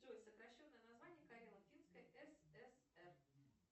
джой сокращенное название карело финской сср